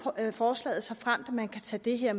forslaget såfremt man kan tage det her